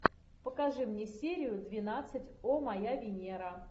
покажи мне серию двенадцать о моя венера